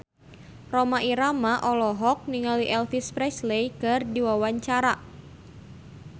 Rhoma Irama olohok ningali Elvis Presley keur diwawancara